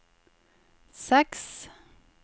seks